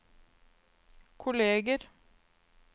kolleger